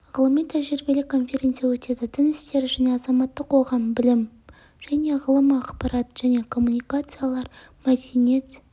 ғылыми-тәжірибелік конференция өтеді дін істері және азаматтық қоғам білім және ғылым ақпарат және коммуникациялар мәдениет